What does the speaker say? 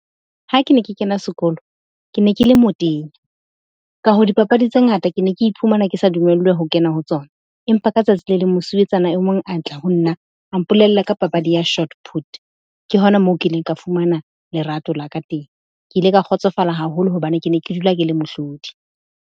Ha ke ne ke kena sekolo, ke ne ke le motenya, ka hoo dipapadi tse ngata ke ne ke iphumana ke sa dumellwe ho kena ho tsona. Empa ka tsatsi le leng mosuwetsana e mong a tla ho nna a mpolella ka papadi ya shot put. Ke hona moo ke ileng ka fumana lerato la ka teng. Ke ile ka kgotsofala haholo hobane ke ne ke dula ke le mohlodi.